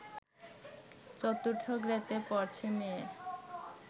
চতুর্থ গ্রেডে পড়ছে মেয়ে